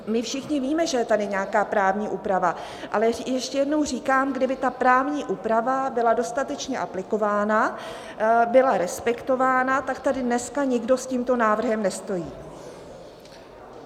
My všichni víme, že je tady nějaká právní úprava, ale ještě jednou říkám, kdyby ta právní úprava byla dostatečně aplikována, byla respektována, tak tady dneska nikdo s tímto návrhem nestojí.